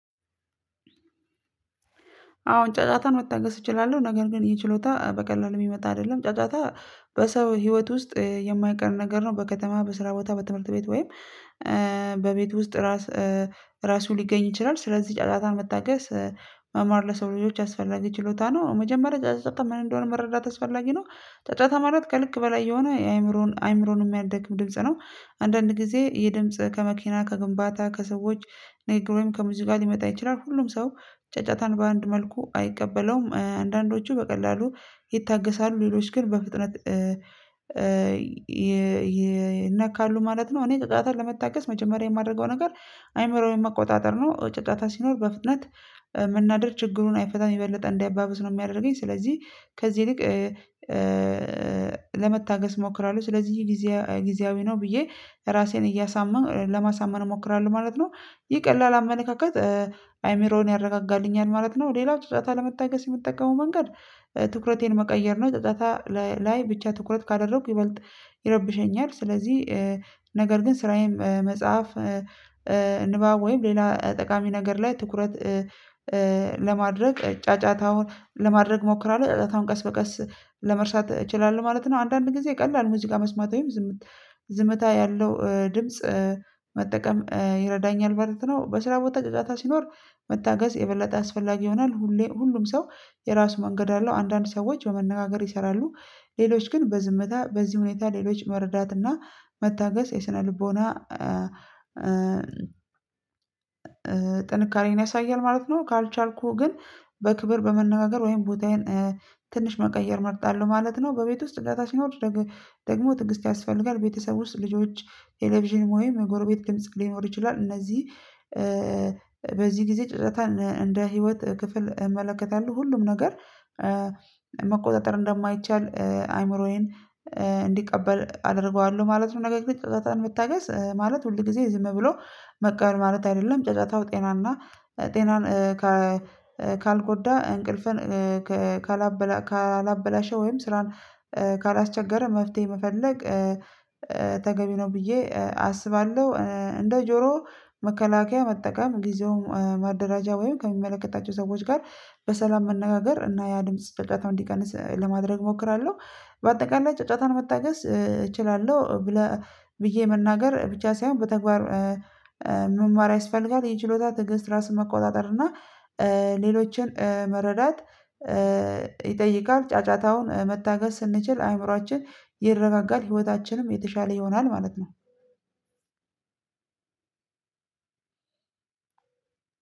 አሁን ጫጫታን መታገስ እችላለሁ። ነገር ግን ይህ ችሎታ በቀላሉ የሚመጣ አይደለም ጫጫታ በሰው ህይወት ውስጥ የማይቀር ነገር ነው። በከተማ በስራ ቦታ በትምህርት ቤት ወይም በቤት ውስጥ ራሱ ራሱ ሊገኝ ይችላል። ስለዚህ ጫጫታ መታገስ መማር ለሰው ልጆች አስፈላጊ ችሎታ ነው። መጀመሪያ ጫጫታ ምን እንደሆነ መረዳት አስፈላጊ ነው። ጫጫታ ማለት ከልክ በላይ የሆነ አእምሮን የሚያደክም ድምጽ ነው። አንዳንድ ጊዜ ይሄ ድምጽ ከመኪና ከግንባታ ከሰዎች ነገሮችን ከሙዚቃ ሊመጣ ይችላል። ሁሉም ሰው ጫጫታን በአንድ መልኩ አይቀበለውም አንዳንዶቹ በቀላሉ ይታገሳሉ ሌሎች ግን በፍጥነት ይነካሉ ማለት ነው። እኔ ጫጫታ ለመታገስ መጀመሪያ የማደርገው ነገር አይምሮዬን መቆጣጠር ነው። ጫጫታ ሲኖር በፍጥነት መናደድ ችግሩን አይፈታም የበለጠ እንድናደድ ነው የሚያደርገኝ ስለዚህ። ከዚህ ይልቅ ለመታገስ እሞክራለሁ ስለዚህ ጊዜ ጊዜያዊ ነው ብዬ ራሴን እያሳመንኩ ለማሳመን እሞክራለሁ ማለት ነው። ይሄ ቀላል አመለካከት አእምሮን ያረጋጋልኛል ማለት ነው። ሌላው ጫጫታን ለመታገስ የምጠቀመው መንገድ ትኩረቴን መቀየር ነው። ጫጫታ ላይ ብቻ ትኩረት ካደረኩ ይበልጥ ይረብሸኛል ስለዚህ ነገር ግን ስራዬም መጽሐፍ ንባብ ወይም ሌላ ጠቃሚ ነገር ላይ ትኩረት ለማድረግ ጫጫታውን ለማድረግ እሞክራለሁ ጨጫታውን ቀስ በቀስ ለመርሳት እችላለሁ ማለት ነው። አንዳንድ ጊዜ ቀላል ሙዚቃ መስማት ወይም ዝምታ ያለው ድምጽ መጠቀም ይረዳኛል ማለት ነው። በስራው ጫጫታ ሲኖር መታገስ የበለጠ አስፈላጊ ይሆናል። ሁሌ ሁሉም ሰው የራሱ መንገድ አለው አንዳንድ ሰዎች በመነጋገር ይሰራሉ ሌሎች ግን በዝምታ በዚህ ሁኔታ ሌሎች መረዳትና መታገስ የስነ ልቦና ጥንካሬን ያሳያል ማለት ነው። ካልቻልኩህ ግን በክብር በመነጋገር ወይም ቦታዬን ትንሽ መቀየር መርጣለሁ ማለት ነው። በቤት ውስጥ ጫጫታ ሲኖር ደግሞ ትዕግስት ያስፈልጋል። ቤተሰብ ውስጥ ልጆች ቴሌቪዥን ወይም ጎረቤት ድምጽ ሊኖር ይችላል እነዚህ በዚህ ጊዜ ጫጫታን እንደ ህይወት ክፍል እመለከታለሁ ሁሉም ነገር መቆጣጠር እንደማይቻል አይምሮዬን እንዲቀበል አደርገዋለሁ ማለት ነው። ነገር ጫጫታን መታገስ ማለት ሁል ጊዜ ዝም ብሎ መቅረት ማለት አይደለም። ጫጫታው ጤናማ ጤናን ካልጎዳ እንቅልፍን ካላበላሸ ወይም ስራን ካላስቸገረ መፍትሄ መፈለግ ተገቢ ነው። ብዬ አስባለሁ እንደ ጆሮ መከላከያ መጠቀም ጊዜውን ማደራጃ ወይም ከሚመለከታቸው ሰዎች ጋር በሰላም መነጋገር እና ያ ድምጽ ጫጫታውን እንዲቀንስ ለማድረግ እሞክራለሁ። በአጠቃላይ ጫጫታን መታገስ እችላለሁ ብለህ ብዬ መናገር ብቻ ሳይሆን በተግባር መማር ያስፈልጋል። የችሎታ ትግስት ራሱን መቆጣጠር እና ሌሎችን መረዳት ይጠይቃል። ጫጫታውን መታገስ ስንችል አእምሮአችን ይረጋጋል ህይወታችንም የተሻለ ይሆናል ማለት ነው።